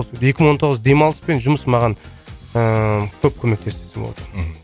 екі мың он тоғыз демалыс пен жұмыс маған ыыы көп көмектесті десе болады мхм